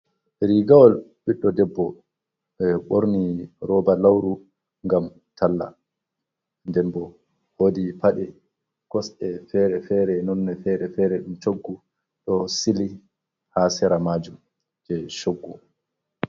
Rigawol ɓiɗɗo debbo, ɓeɗo ɓorni roba lauru ngam talla, nden bo woodi paɗe kosɗe ferefere nonne fere-fere ɗum coggu ɗo sili ha sera majum je coggu.